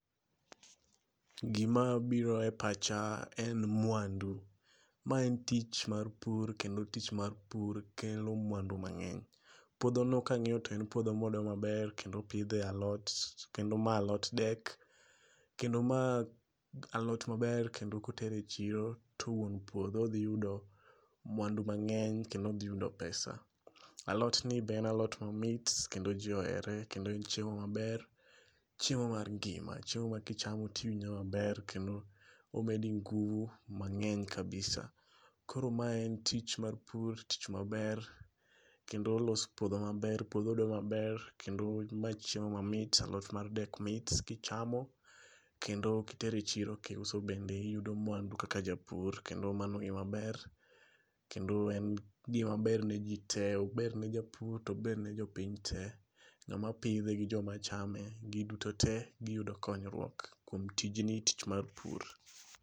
Gima biro e pacha en mwandu. Ma en tich mar pur kendo tich mar pur kelo mwandu mang'eny. Puotho no ka ang'iyo to en puodho modo maber kendo opidhe alot. Kendo ma alot dek. Kendo ma alot maber kendo kotere chiro to wuon puodho dhi yudo mwandu mang'eny kendo odhi yudo pesa. Alot ni be en alot mamit kendo ji ohere kendo en chiemo maber. Chiemo mar ngima. Chiemo ma kichamo tiwinjo maber. Kendo omedi nguvu mang'eny kabisa. Koro ma en tich mar pur tich maber. Kendo olos puodho maber. Puodho odo maber. Kendo ma chiem mamit alot mar dek mit kichamo. Kendo kitere chiro kiuso bende iyudo mwandu kaka japur. Kendo mano e maber. Kendo en gima ber ne ji te. Ober ne japur to ober ne jopiny te. Ng'ama pidhe gi joma chame giduto te giyudo konyruok kuom tijni tich mar pur.